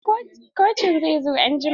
Kocin zai zo anjima.